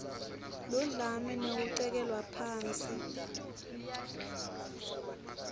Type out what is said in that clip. ludlame nekucekelwa phansi